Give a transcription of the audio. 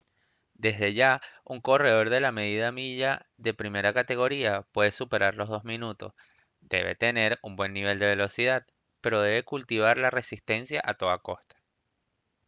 desde ya un corredor de la media milla de primera categoría que puede superar los dos minutos debe tener un buen nivel de velocidad pero debe cultivar la resistencia a toda costa